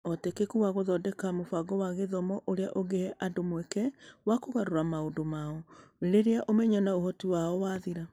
Ũhotekeku wa gũthondeka mũbango wa gĩthomo ũrĩa ũngĩhe andũ mweke wa kũgarũrĩra maũndũ mao, rĩrĩa ũmenyo na ũhoti wao wathira.